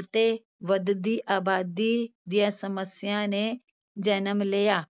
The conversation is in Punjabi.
ਅਤੇ ਵੱਧਦੀ ਆਬਾਦੀ ਦੀਆਂ ਸਮੱਸਿਆ ਨੇ ਜਨਮ ਲਿਆ।